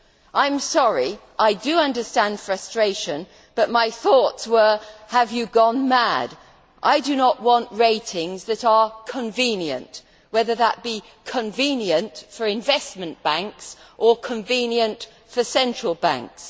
I am sorry, I do understand frustration, but my thoughts were have you gone mad? I do not want ratings that are convenient', whether that be convenient' for investment banks or convenient' for central banks.